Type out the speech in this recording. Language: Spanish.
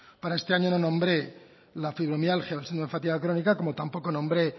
para este año no nombré la fibromialgia o síndrome de fatiga crónica como tampoco nombré